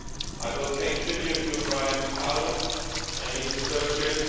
I pay tribute to Brian Cowen and his associates